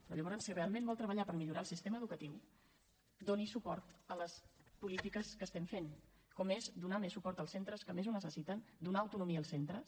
però llavors si realment vol treballar per millorar el sistema educatiu doni suport a les polítiques que estem fent com és donar més suport als centres que més ho necessiten donar autonomia als centres